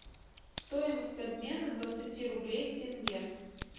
стоимость обмена двадцати рублей в тенге